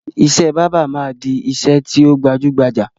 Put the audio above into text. Ìṣe báábà máa di ìṣe tí ó gbajúgbajà